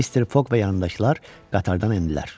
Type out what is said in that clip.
Mister Foq və yoldaşlar qatardan endilər.